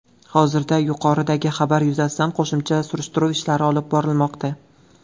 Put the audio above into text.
Hozirda yuqoridagi xabar yuzasidan qo‘shimcha surishtiruv ishlari olib borilmoqda.